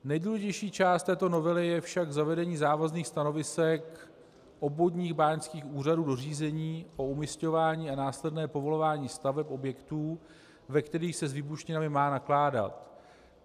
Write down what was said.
Nejdůležitější část této novely je však zavedení závazných stanovisek obvodních báňských úřadů do řízení o umisťování a následné povolování staveb objektů, ve kterých se s výbušninami má nakládat.